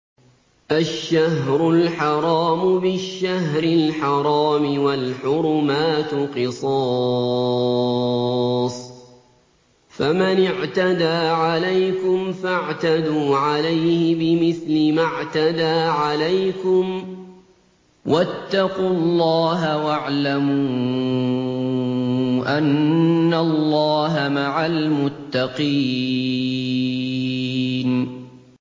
الشَّهْرُ الْحَرَامُ بِالشَّهْرِ الْحَرَامِ وَالْحُرُمَاتُ قِصَاصٌ ۚ فَمَنِ اعْتَدَىٰ عَلَيْكُمْ فَاعْتَدُوا عَلَيْهِ بِمِثْلِ مَا اعْتَدَىٰ عَلَيْكُمْ ۚ وَاتَّقُوا اللَّهَ وَاعْلَمُوا أَنَّ اللَّهَ مَعَ الْمُتَّقِينَ